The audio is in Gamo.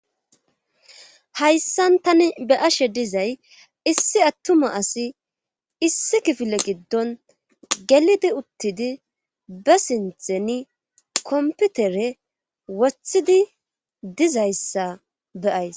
hayssan tani be'ashe dizay issi attuma asi issi kifile giddon gelidi uttidi be sintheni komputere wothidi dizayssa be'ays